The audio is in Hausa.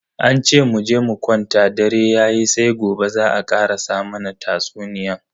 An ce muje mu kwanta dare yayi sai gobe za a karasa mana tatsuniyan.